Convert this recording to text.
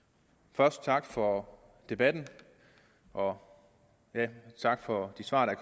først tak for debatten og tak for de svar der